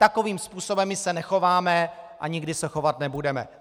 Takovým způsobem my se nechováme a nikdy se chovat nebudeme.